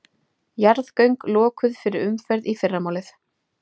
Gaman Ferðir eru stoltir samstarfsaðilar Tólfunnar.